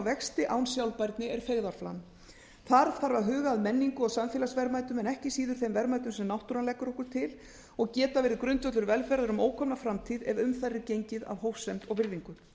vexti án sjálfbærni er feigðarflan þar þarf að huga að menningu og samfélagsverðmætum en ekki síður þeim verðmætum sem náttúran leggur okkur til og geta geir grundvöllur velferðar um ókomna framtíð ef um þær er gengið af hófsemd og virðingu